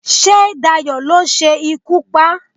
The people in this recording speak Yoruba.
sé Dayo lo se ikú pa